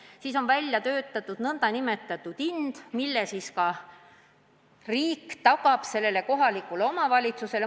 Selleks on välja arvutatud kohatasu, mille riik tagab kohalikule omavalitsusele.